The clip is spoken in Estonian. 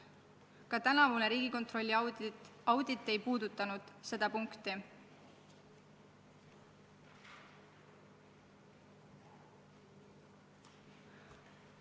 Ka tänavune Riigikontrolli audit ei puudutanud seda tahku.